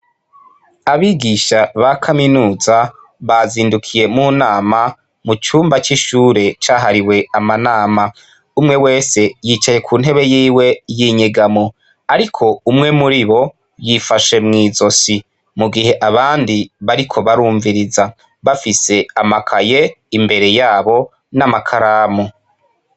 Abigisha ba kaminuza, bazindukiye mu nama, mu cumba c'ishure cahariwe amanama. Umwe wese yicaye nku ntebe yiwe y'inyegamo. Ariko umwe muri bo yifashe mw'izosi, mu gihe abandi bariko barumviriza bafise amakaye imbere ya bo n'amakaramu.